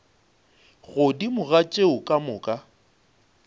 godimo ga tšeo ka moka